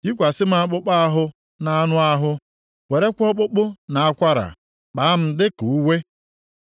Yikwasị m akpụkpọ ahụ na anụ ahụ, werekwa ọkpụkpụ na akwara kpaa m dịka uwe?